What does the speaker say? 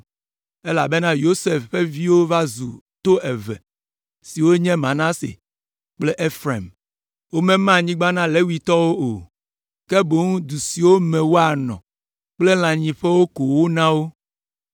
elabena Yosef ƒe viwo va zu to eve, siwo nye Manase kple Efraim. Womema anyigba na Levitɔwo o, ke boŋ du siwo me woanɔ kple lãnyiƒewo ko wona wo.